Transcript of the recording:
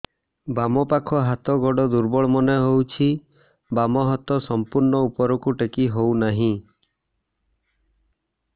ବାମ ପାଖ ହାତ ଗୋଡ ଦୁର୍ବଳ ମନେ ହଉଛି ବାମ ହାତ ସମ୍ପୂର୍ଣ ଉପରକୁ ଟେକି ହଉ ନାହିଁ